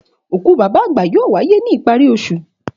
Òkú bàbá àgbà yóò wáyé ní ìparí osù.